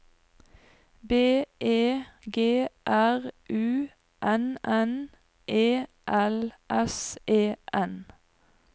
B E G R U N N E L S E N